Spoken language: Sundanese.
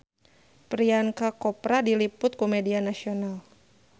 Priyanka Chopra diliput ku media nasional